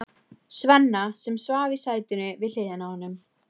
Svenna, sem svaf í sætinu við hliðina á honum.